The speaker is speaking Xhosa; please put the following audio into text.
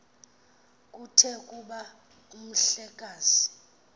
kuthe kuba umhlekazi